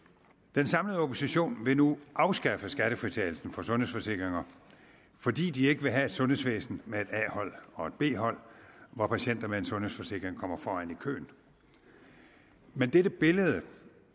den samlede opposition vil nu afskaffe skattefritagelsen for sundhedsforsikringer fordi de ikke vil have et sundhedsvæsen med et a hold og et b hold hvor patienter med en sundhedsforsikring kommer foran i køen men dette billede